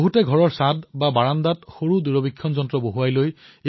বহুলোকে amateur telescopes নিজৰ ঘৰৰ বাৰাণ্ডাত স্থাপন কৰে